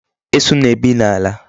Esu na-ebi n'ala.